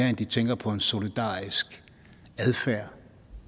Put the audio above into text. end de tænker på en solidarisk adfærd